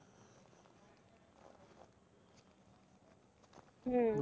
হুম।